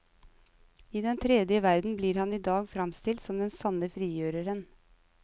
I den tredje verden blir han i dag framstilt som den sanne frigjøreren.